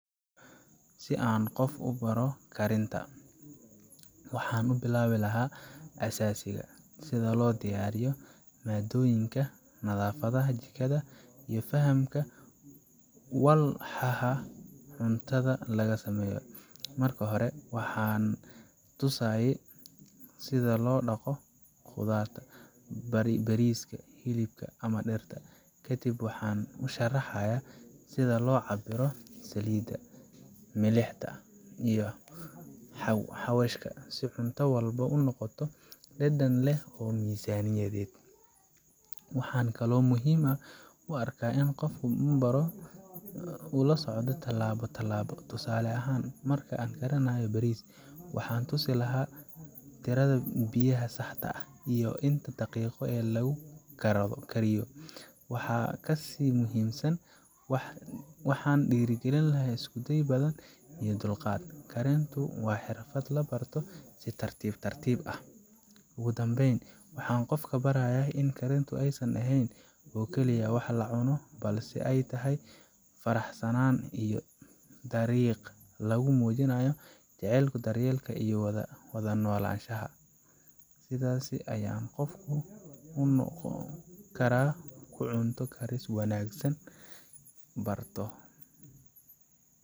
Si aan qof ugu baro karinta, waxaan ka bilaabi lahaa aasaaska: sida loo diyaariyo maaddooyinka, nadaafadda jikada, iyo fahamka walxaha cuntada laga sameeyo. Marka hore, waxaan tusayaa sida loo dhaqdo khudradda, bariiska, hilibka, ama digirta. Kadib, waxaan u sharaxayaa sida loo cabbiro saliidda, milixda, iyo xawaashka si cunto walba u noqoto dhadhan leh oo miisaaniyadeed. Waxaan kaloo muhiim u arkaa in qofka la barayo uu la socdo tallaabo tallaabo: tusaale ahaan, marka la karinayo bariis, waxaan tusi lahaa tirada biyaha saxda ah, iyo inta daqiiqo ee lagu karsado. Waxaa ka sii muhiimsan, waxaan dhiirrigelinayaa isku day badan iyo dulqaad karintu waa xirfad la barto si tartiib tartiib ah. Ugu dambayn, waxaan qofka barayaa in karintu aysan aheyn oo keliya wax la cunayo, balse ay tahay farshaxan iyo dariiq lagu muujiya jacaylka, daryeelka iyo wada noolaanshaha. Sidaas ayaa qof walba ugu noqon kara cunto karis wanaagsa barto